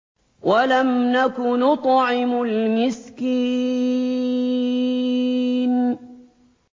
وَلَمْ نَكُ نُطْعِمُ الْمِسْكِينَ